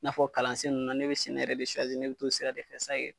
I n'a fɔ kalansen nunnu na ne bi sɛnɛ yɛrɛ ne bi t'o sira de fɛ